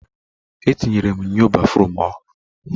E tinyere m nnyo béfrụm ọhụrụ.